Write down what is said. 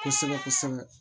Kosɛbɛ kosɛbɛ